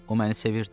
O məni sevirdi.